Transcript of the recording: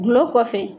Gulɔ kɔfɛ